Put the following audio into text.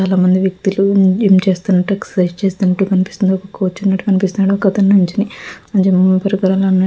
చాలామంది వ్యక్తులు ఎక్సర్సైజ్ చేస్తున్నట్టు కనిపిస్తుంది ఒక అతని నిల్చోని